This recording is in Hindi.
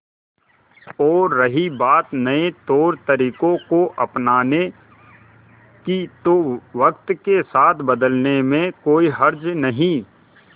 और रही बात नए तौरतरीकों को अपनाने की तो वक्त के साथ बदलने में कोई हर्ज नहीं